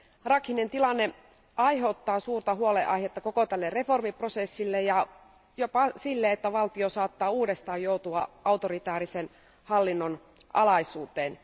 Rakhinen tilanne aiheuttaa suurta huolenaihetta koko tälle reformiprosessille ja jopa sille, että valtio saattaa uudestaan joutua autoritäärisen hallinnon alaisuuteen.